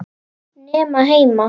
Nema heima.